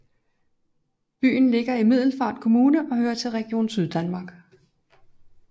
Byen ligger i Middelfart Kommune og hører til Region Syddanmark